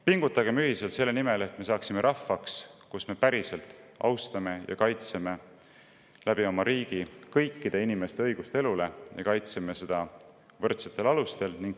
Pingutagem ühiselt selle nimel, et me saaksime rahvaks, kes oma riigis päriselt austab ja kaitseb kõikide inimeste õigust elule ja kaitseb seda võrdsetel alustel.